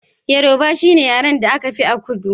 Yaroba shine yaren da aka fi a kudu